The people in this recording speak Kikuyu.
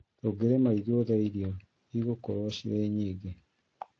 Tũngĩrĩma ithuothe irio igũkorwo ciĩ nyingĩ